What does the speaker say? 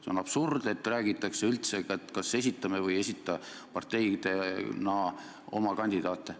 See on absurd, et räägitakse üldse, kas esitame või ei esita parteidena oma kandiaate peaprokuröri kohale.